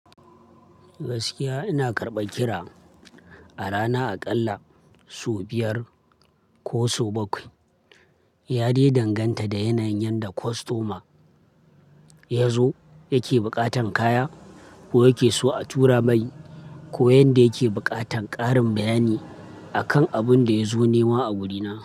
Gaskiya ina karɓa kira a rana aƙalla sau biyar ko sau bakwai. Ya dai danganta da yanayin yanda kostoma yazo yake buƙatan kaya ko yake so a tura mai ko yanda yake buƙatan ƙarin bayani akan abunda yazo nema a gurina.